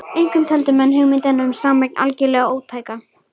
Einkum töldu menn hugmyndina um sameign algerlega ótæka.